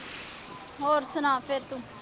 ਹੋਰ ਸੁਣਾ ਫਿਰ ਤੂੰ।